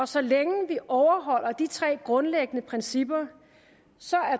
så længe vi overholder de tre grundlæggende principper